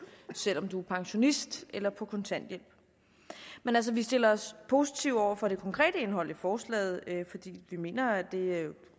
selv om man er pensionist eller på kontanthjælp men altså vi stiller os positive over for det konkrete indhold i forslaget fordi vi mener at det